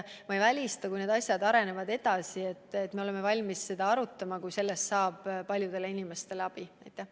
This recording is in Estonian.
Ma ei välista, et kui need asjad arenevad edasi, siis me oleme valmis seda arutama, kui see kokteil paljusid inimesi aitab.